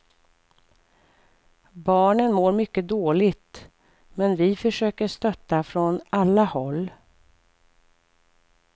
Barnen mår mycket dåligt, men vi försöker stötta från alla håll.